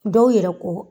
Dɔw yɛrɛ ko